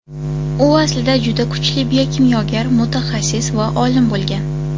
U aslida juda kuchli biokimyogar mutaxassis va olim bo‘lgan.